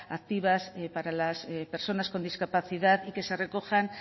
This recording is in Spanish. activas para las personas con discapacidad y que se recojan